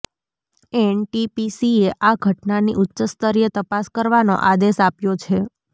એનટીપીસીએ આ ઘટનાની ઉચ્ચસ્તરીય તપાસ કરવાનો આદેશ આપ્યો છે